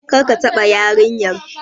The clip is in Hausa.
Kar ka taɓa yarinyar!